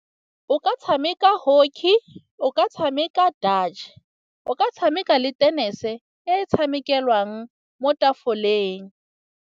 O ka tshameka hockey, o ka tshameka dutch, o ka tshameka le tennis-e e tshamekelang mo tafoleng.